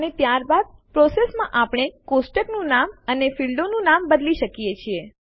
અને ત્યારબાદ પ્રોસેસ પ્રક્રિયામાં આપણે ટેબલનું નામ અને ફીલ્ડો ક્ષેત્રોનું નામ બદલી શકીએ છીએ